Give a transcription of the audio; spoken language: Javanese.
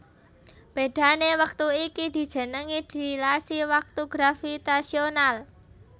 Bedhané wektu iki dijenengi dilasi waktu gravitasional